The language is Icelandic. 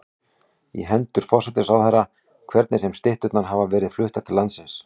í hendur forsætisráðherra, hvernig sem stytturnar hafa verið fluttar til landsins.